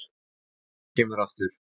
Ef hún kemur aftur.